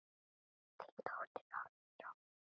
Þín dóttir Árný Rósa.